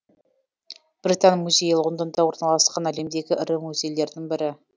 британ музейі лондонда орналасқан әлемдегі ірі музейлердің бірі